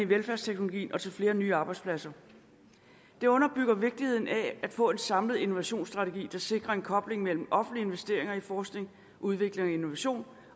velfærdsteknologien og til flere nye arbejdspladser det underbygger vigtigheden af få en samlet innovationsstrategi sikrer koblingen mellem de offentlige investeringer i forskning udvikling innovation